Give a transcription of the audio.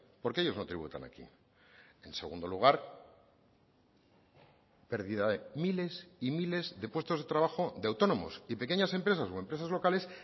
porque ellos no tributan aquí en segundo lugar pérdida de miles y miles de puestos de trabajo de autónomos y pequeñas empresas o empresas locales